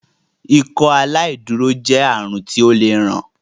Ikọaláìdúró jé àrùn ti ọ lẹ rán